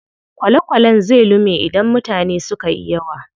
Kwale kwalen zai lume idan mutane sukayi yawa.